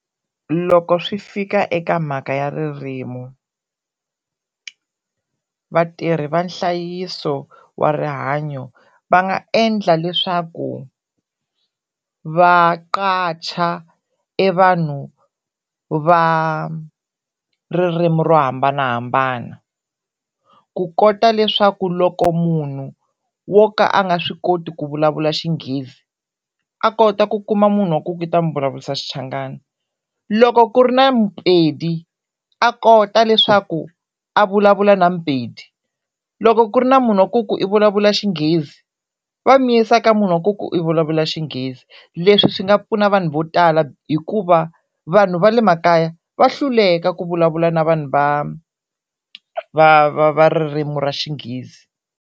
Loko swi fika eka mhaka ya ririmi vatirhi va nhlayiso wa rihanyo va nga endla leswaku va e vanhu va ririmi ro hambanahambana ku kota leswaku loko munhu wo ka a nga swi koti ku vulavula xinghezi a kota ku kuma munhu wa ku i ta n'wi vulavurisa Xichangana, loko ku ri na muPedi a kota leswaku a vulavula na muPedi, loko ku ri na munhu wa ku ku i vulavula Xinghezi va n'wi yisa ka munhu wa ku vulavula Xinghezi, leswi swi nga pfuna vanhu vo tala hikuva vanhu va le makaya va hluleka ku vulavula na vanhu va va va va ririmi ra Xinghezi.